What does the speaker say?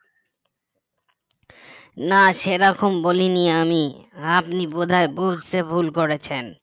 না সে রকম বলিনি আমি আপনি বোধহয় বুঝতে ভুল করেছেন